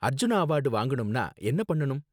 Arjuna award வாங்கணும்னா என்ன பண்ணனும்?